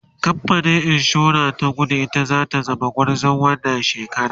kamfanin insura ta kudu ita zata zama gwarzon wannan shekara